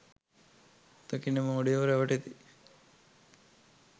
දකින මෝඩයෝ රැවටෙති.